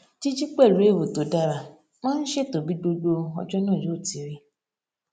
jíjí pẹlú èrò tó dára máa n ṣètò bí gbogbo ọjó náà yóò ti rí